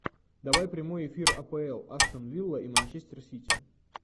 давай прямой эфир апл астон вилла и манчестер сити